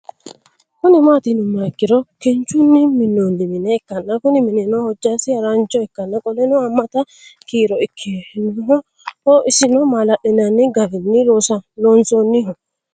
Kuni mati yinumoha ikiro kinchuni Minoni mine ikana Kuni minino hojasi harancho ikana qoleno hamata kiro ikinoho isono malali'nani garin loonsoniho